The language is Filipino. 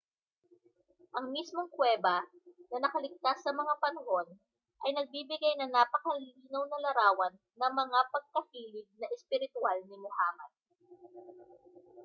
ang mismong kuweba na nakaligtas sa mga panahon ay nagbibigay ng napakalinaw na larawan ng mga pagkahilig na espiritwal ni muhammad